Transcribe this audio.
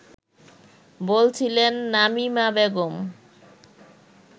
” বলছিলেন নামিমা বেগম